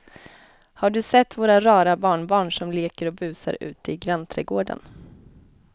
Har du sett våra rara barnbarn som leker och busar ute i grannträdgården!